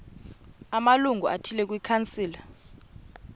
amalungu athile kwikhansile